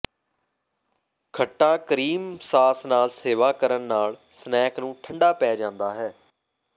ਖੱਟਾ cream sauce ਨਾਲ ਸੇਵਾ ਕਰਨ ਨਾਲ ਸਨੈਕ ਨੂੰ ਠੰਡਾ ਪੈ ਜਾਂਦਾ ਹੈ